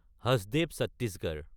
Hasdeo Chhattisgarh